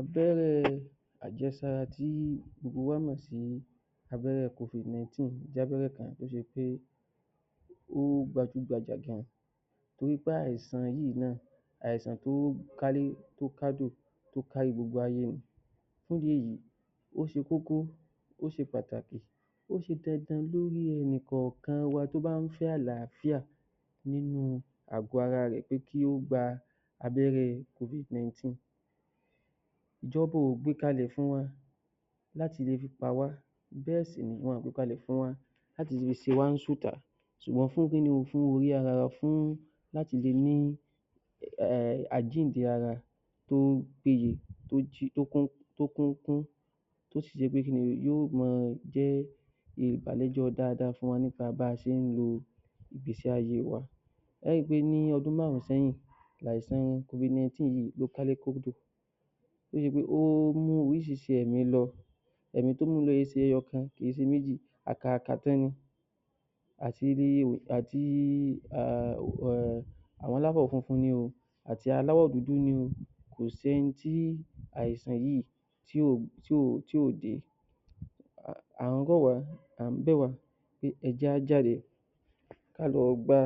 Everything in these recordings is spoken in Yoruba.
‎Abẹ́rẹ́ àjẹsára tí gbogbo ènìyàn mọ̀ sí abẹ́rẹ́ Covid 19 jẹ́ abẹ́rẹ́ kan tó gbajúgbajà gan torí pé àìsàn yìí, àìsàn kan to kálé tó kádò tó káárí gbogbo ayé ni fún ìdí èyí, ó ṣe kókó ó ṣe pàtàkì ó ṣe dandan lórí enìkọ́ọ̀kan wa tó bá ń fẹ́ àlàáfíà nínú àgọ́ ara rẹ̀ pé kí ó gba abẹ́rẹ́ Covid 19 ,ìjọba ò gbé e kalẹ̀ fún wa láti ṣekú pa wá bẹ́ẹ̀ sì ni wọn ò gbé e kalẹ̀ fún wa láti fi ṣe wá níkà ṣùgbọ́n fún orí ara wa láti le ní àjíǹde ara tó péye tó kún tó sì jẹ́ wí pé yóò máa àǹfààní dáadáa fún wa nípa bí a ṣe ń lò ó ìgbésí ayé wa ẹ ó ríi pé bíi ọdún márùn-ún sẹ́yìn ni àìsàn Covid 19 kálé kádò, ó mú orísìírísìí ẹ̀mí lọ ẹ̀mí tó mú lọ kìí se ẹyọ kan, kìí se méjì àti aláwọ̀ funfun ni o àti aláwọ̀ dúdú ni o kò sí ẹni tí àìsàn yìí tí ó dé àńbọ̀ wá àńbọ̀ wá ẹ jẹ́ kí á jáde kí á lọ gba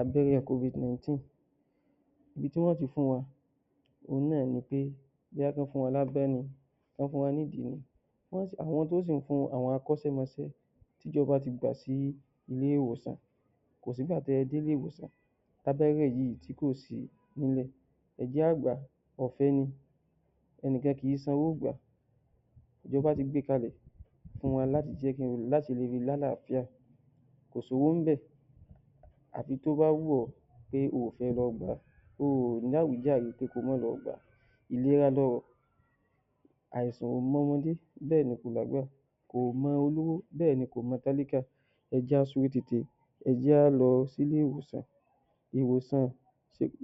abẹ́rẹ́ Covid 19 ibi tí wọn yóò ti fún wa náà ni pé wọ́n fún wa lápá ni, wọ́n fún wa ní ìdí ni àwọn tí ó sì ń fún wa, àwọn akọ́ṣẹ́mọṣẹ́ tí ìjọba ti gbà sí ilé ìwòsàn kò sí ìgbà tí ẹ dé ilé ìwòsàn tí abẹ́rẹ́ yìí kò sí níbẹ̀ ọ̀fẹ́ ni ẹnìkan kìí san owó gbà á, ìjọba ti gbé e kalẹ̀ fún wa láti jẹ́ kí á le lálàáfíà kò sí owó níbẹ̀ àfi tó bá wù ọ́ pé o ò fẹ́ lọ gbà á o ò ní àwíjàre pé kí o má lọ gbà á ìlera lọrọ̀ àìsàn ò mọ ọmọdé kò mọ àgbà, kò mọ olówó bẹ́ẹ̀ ni kò mọ tálákà ẹ jí á lọ sí ilé ìwòsàn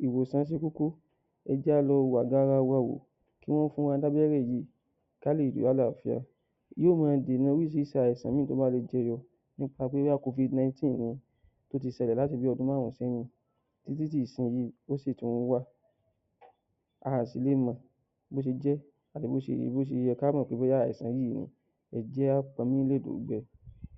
ìwòsàn ṣe kókó ẹ jẹ́ kí á lọ wo ààgọ́ ara wa wò kí Wọ́n fún wa Lábẹ́rẹ́ yìí kí á lè ní àlàáfíà yóò máa dènà orísìírísìí àìsàn míì tí ó bá jẹyọ nípa pé bóyá Covid 19 yẹn ṣẹlẹ̀ láti bíi ọdún márùn-ún sẹ́yìn títí di ìsinsìnyí ó sì tún wà a ò sì le mọ̀ bó ṣe jẹ́ àti bí ó ṣe yẹ kí á mọ̀ bóyá àìsàn yìí ẹ jẹ́ á pọn omi lẹ̀ de òùngbẹ. ‎‎‎